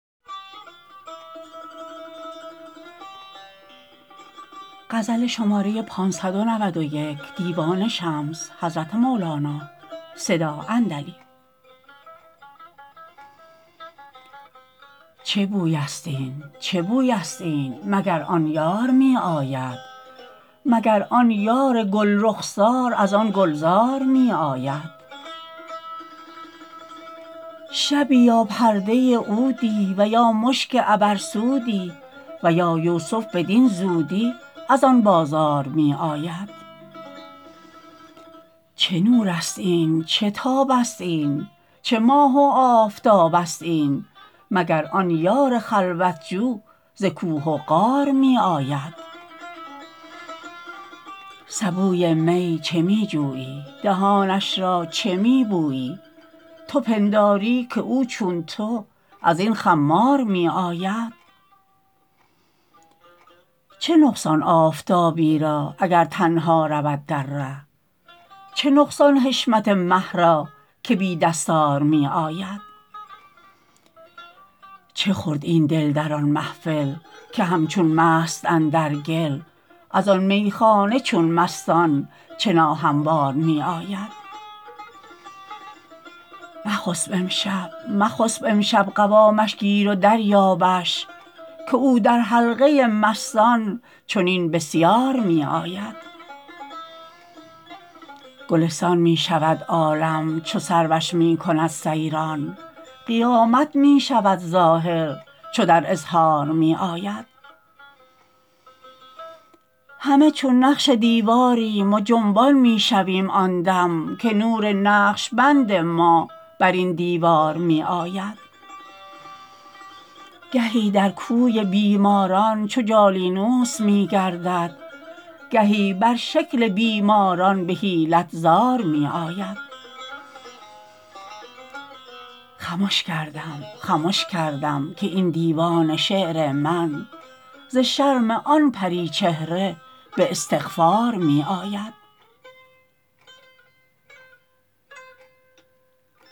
چه بویست این چه بویست این مگر آن یار می آید مگر آن یار گل رخسار از آن گلزار می آید شبی یا پرده عودی و یا مشک عبرسودی و یا یوسف بدین زودی از آن بازار می آید چه نورست این چه تابست این چه ماه و آفتابست این مگر آن یار خلوت جو ز کوه و غار می آید سبوی می چه می جویی دهانش را چه می بویی تو پنداری که او چون تو از این خمار می آید چه نقصان آفتابی را اگر تنها رود در ره چه نقصان حشمت مه را که بی دستار می آید چه خورد این دل در آن محفل که همچون مست اندر گل از آن میخانه چون مستان چه ناهموار می آید مخسب امشب مخسب امشب قوامش گیر و دریابش که او در حلقه مستان چنین بسیار می آید گلستان می شود عالم چو سروش می کند سیران قیامت می شود ظاهر چو در اظهار می آید همه چون نقش دیواریم و جنبان می شویم آن دم که نور نقش بند ما بر این دیوار می آید گهی در کوی بیماران چو جالینوس می گردد گهی بر شکل بیماران به حیلت زار می آید خمش کردم خمش کردم که این دیوان شعر من ز شرم آن پری چهره به استغفار می آید